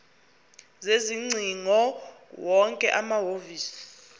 sezingcingo wonke amahhovisi